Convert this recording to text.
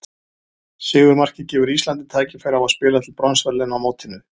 Sigurmarkið gefur Íslandi tækifæri á að spila til bronsverðlauna á mótinu.